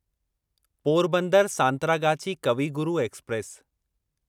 Porbandar Santragachi Kavi Guru express